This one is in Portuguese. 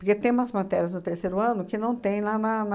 Porque tem umas matérias no terceiro ano que não tem lá na, na,